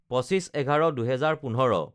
২৫/১১/২০১৫